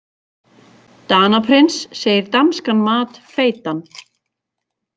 Danaprins segir danskan mat feitan